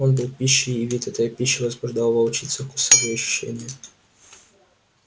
он был пищей и вид этой пищи возбуждал в волчице вкусовые ощущения